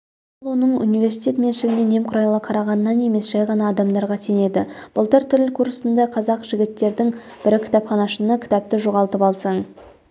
ол оның университет меншігіне немқұрайлы қарағанынан емес жай ғана адамдарға сенеді былтыр тіл курсында қазақ жігіттердің бірі кітапханашыны кітапты жоғалтып алсаң